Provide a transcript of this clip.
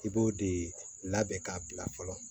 I b'o de labɛn k'a bila fɔlɔ